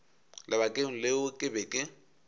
lebakeng leo ke be ke